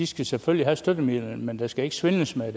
skal selvfølgelig have støttemidlerne men der skal ikke svindles med